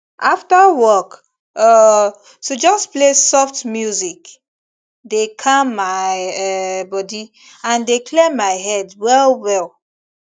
after work um to just play soft music dey calm my um body and dey clear my head well well